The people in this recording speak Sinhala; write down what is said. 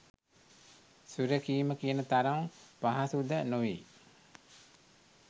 සුරැකීම කියන තරම් පහසු ද නොවෙයි